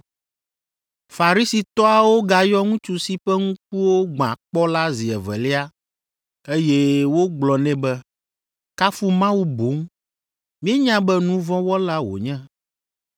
Farisitɔawo gayɔ ŋutsu si ƒe ŋkuwo gbã kpɔ la zi evelia, eye wogblɔ nɛ be, “Kafu Mawu boŋ. Míenya be nu vɔ̃ wɔla wònye.”